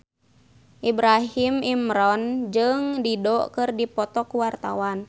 Ibrahim Imran jeung Dido keur dipoto ku wartawan